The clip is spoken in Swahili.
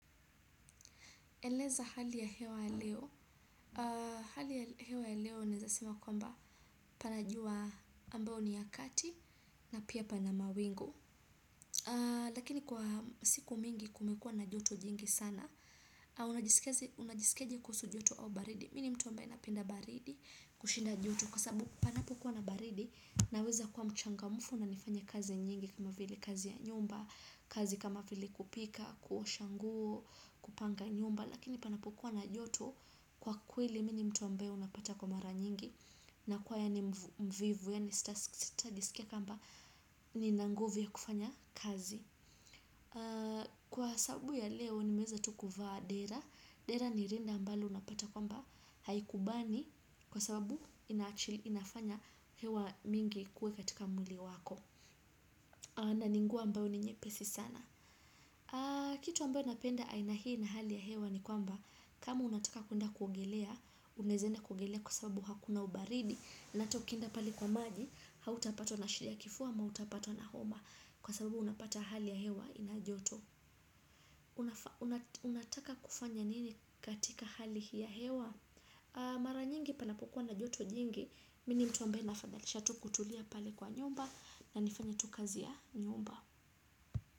Eleza hali ya hewa leo, hali ya hewa leo nezasema kwamba pan ajua ambao ni ya kati na pia pana mawingu. Lakini kwa siku mingi kumekua na joto jingi sana, unajisikiaje kusu joto au baridi Mini mtu ambae napinda baridi kushinda joto kwa sabu panapo kuwa na baridi naweza kuwa mchangamufu na nifanya kazi nyingi kama vile kazi ya nyumba, kazi kama vile kupika, kuosha guo, kupanga nyumba lakini panapokua na joto kwa kweli mini mtu ambae unapata kwa mara nyingi na kwa yani mvivu ya ni sita jisikia kamba ni na nguvu ya kufanya kazi kwa sababu ya leo nimeza tukuvaa dera dera ni rinda mbalo unapata kwamba haikubani kwa sababu inafanya hewa mingi ikue katika mwili wako. Na ninguo ambao ni nyepesi sana. Kitu ambao napenda aina hii na hali ya hewa ni kwamba kama unataka kuenda kugelea unezenda kugelea kwa sababu hakuna ubaridi. Nata ukienda pali kwa manji hautapato na shiria kifuwa ama utapatwa na homa. Kwa sababu unapata hali ya hewa ina joto. Unataka kufanya nini katika hali ya hewa. Mara nyingi panapokua na joto jingi Mini mtu ambao nafadhalisha tu kutulia pali kwa nyumba. Na nifanya tu kazi ya nyumba Muzika.